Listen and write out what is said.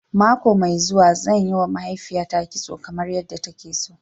Mako mai zuwa, zan yiwa mahaifiyata kitso kamar yadda take so.